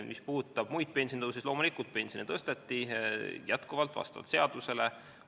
Mis puudutab muid pensionitõuse, siis loomulikult pensione vastavalt seadusele tõsteti.